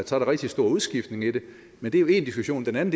så er rigtig stor udskiftning i det men det er jo én diskussion den